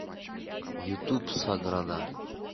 ютуб саграда